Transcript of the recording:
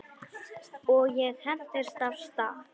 Og ég hentist af stað.